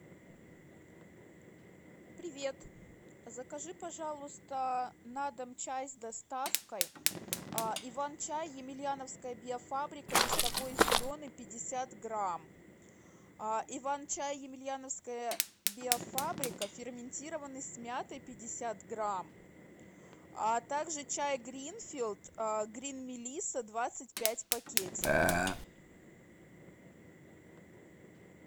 привет закажи пожалуйста на дом чай с доставкой иван чай емельяновская биофабрика листовой зеленый пятьдесят грамм иван чай емельяновская юиофабрика ферментированный с мятой пятьдесят грамм а также чай гринфилд грин мелисса двадцать пять пакетиков